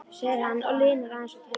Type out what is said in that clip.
segir hann og linar aðeins á takinu.